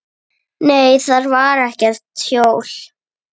Nei, þar var ekkert hjól.